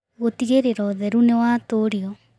Gũtigĩrĩra ũtheru nĩ watũũrio